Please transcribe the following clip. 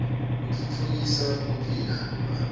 utfutfukisa kuphila kwebantfu